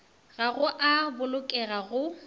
ga go a bolokega go